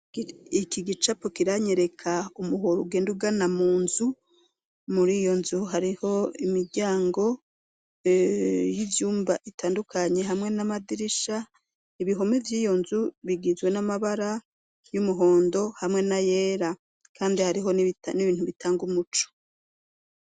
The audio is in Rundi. Iki gicapo kiranyereka umuhoro ugenda ugana mu nzu muri iyo nzu hariho imiryango y'ivyumba itandukanye hamwe n'amadirisha ibihome by'iyo nzu bigizwe n'amabara y'umuhondo hamwe na yera kandi hariho n'ibintu bitanga umuco.